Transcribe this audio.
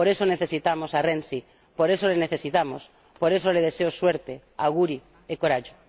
Por eso necesitamos a Renzi, por eso le necesitamos, por eso le deseo suerte, auguri e coraggio